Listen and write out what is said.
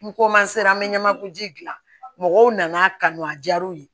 N ko ma se an bɛ ɲamaku ji dilan mɔgɔw nan'a kanu a diyar'u ye